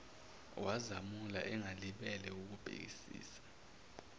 wazamula engalibele wukubhekisisa